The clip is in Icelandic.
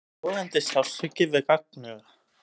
Logandi sársauki við gagnauga.